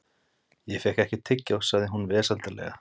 Ég fékk ekkert tyggjó, sagði hún vesældarlega.